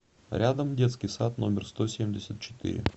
рядом детский сад номер сто семьдесят четыре